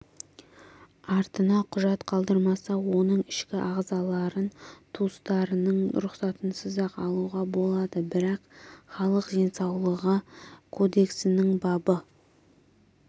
артына құжат қалдырмаса оның ішкі ағзаларын туыстарының рұқсатынсыз-ақ алуға болады бірақ халық денсаулығы кодексінің бабы